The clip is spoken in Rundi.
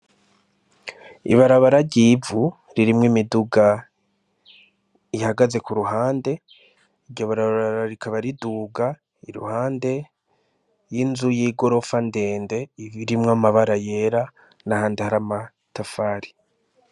Ibarabara ryivu ririmwo imiduga ihagaze ku ruhande iryo barabara rikaba riduga i ruhande y'inzu y'igorofa ndende ibirimwo amabara yera na handi hari amatafari.